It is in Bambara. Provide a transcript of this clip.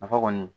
Nafa kɔni